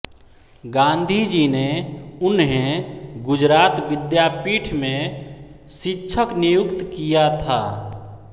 गांधी जी ने उन्हें गुजरात विद्यापीठ में शिक्षक नियुक्त किया था